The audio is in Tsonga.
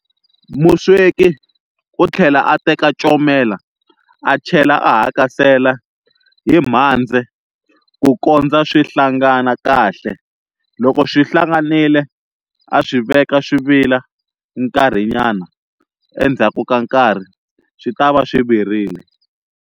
Musweki u tlhela a teka comela a chela a hakasela hi mhandze ku kondza swi hlangana kahle. Loko swi hlanganile a swi veka swi vila nkarhinyana endzhaku ka nkarhi swi ta va swi virile.